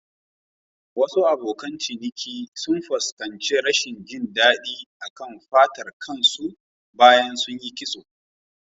Wasu abokan ciniki sun fuskanci rashin jin daɗi a kan fatar kan su bayan sunyi kitso.